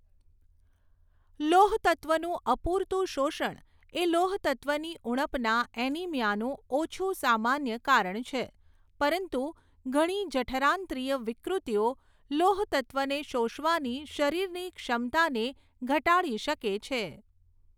લોહતત્ત્વનું અપૂરતું શોષણ એ લોહતત્ત્વની ઉણપના એનીમિયાનું ઓછું સામાન્ય કારણ છે, પરંતુ ઘણી જઠરાંત્રિય વિકૃતિઓ લોહતત્ત્વને શોષવાની શરીરની ક્ષમતાને ઘટાડી શકે છે.